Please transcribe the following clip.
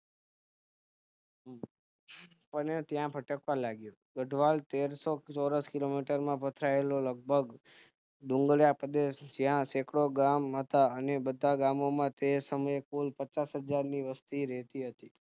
અને ત્યાં ભટકવા લાગ્યો ગઠવાલ તેરસો Kilometers માં ફેલાયેલો લગભગ ડુંગરાળ પ્રદેશ જ્યાં second ગામ હતા અને બધા ગામોમાં કુલ પચાસહજાર ની વસ્તી રેતી હતી